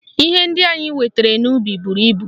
Ihe ndị anyị wetara n'ubi buru ibu